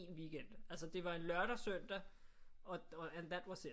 Weekend altså det var en lørdag søndag og and that was it